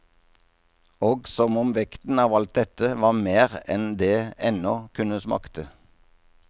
Og som om vekten av alt dette var mer enn det ennå kunne makte.